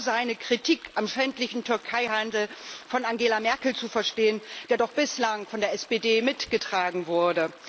Ist so seine Kritik am schändlichen Türkei Handel von Angela Merkel zu verstehen, der doch bislang von der SPD mitgetragen wurde?